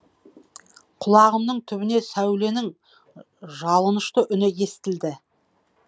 құлағымның түбіне сәуленің жалынышты үні естілді